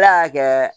Ne y'a kɛ